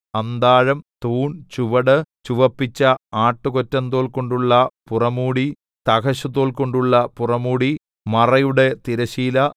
അന്താഴം തൂൺ ചുവട് ചുവപ്പിച്ച ആട്ടുകൊറ്റന്തോൽകൊണ്ടുള്ള പുറമൂടി തഹശൂതോൽകൊണ്ടുള്ള പുറമൂടി മറയുടെ തിരശ്ശീല